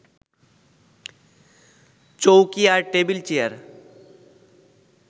চৌকি আর table chair